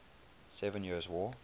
seven years war